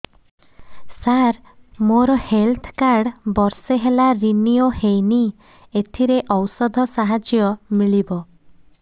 ସାର ମୋର health card ବର୍ଷେ ହେଲା ରିନିଓ ହେଇନି ଏଥିରେ ଔଷଧ ସାହାଯ୍ୟ ମିଳିବ